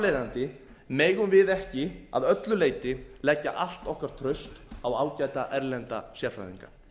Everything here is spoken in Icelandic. leiðandi megum við ekki að öllu leyti leggja allt okkar traust á ágæta erlenda sérfræðinga